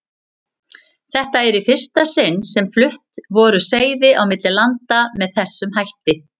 Þetta var í fyrsta sinni sem flutt voru seiði á milli landa með þessum hætti.